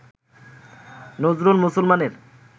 নজরুল মুসলমানের